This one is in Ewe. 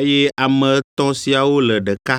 eye ame etɔ̃ siawo le ɖeka.